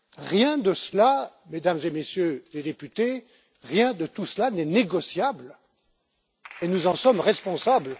Rien de cela, Mesdames et Messieurs les députés, rien de tout cela n'est négociable, et nous en sommes responsables.